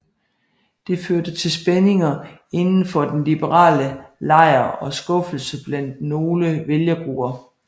Det førte til spændinger inden for den liberale lejr og skuffelse blandt nogle vælgergrupper